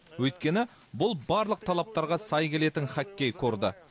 өйткені бұл барлық талаптарға сай келетін хоккей корды